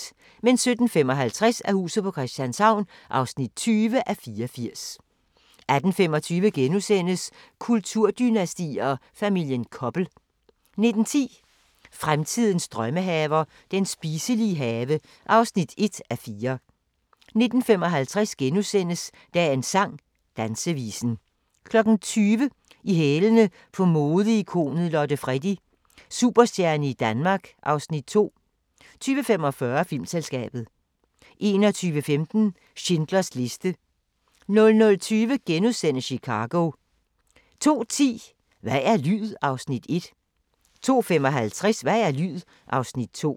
17:55: Huset på Christianshavn (20:84) 18:25: Kulturdynastier: Familien Koppel * 19:10: Fremtidens drømmehaver – den spiselige have (1:4) 19:55: Dagens sang: Dansevisen * 20:00: I hælene på modeikonet Lotte Freddie: Superstjerne i Danmark (Afs. 2) 20:45: Filmselskabet 21:15: Schindlers liste 00:20: Chicago * 02:10: Hvad er lyd? (Afs. 1) 02:55: Hvad er lyd? (Afs. 2)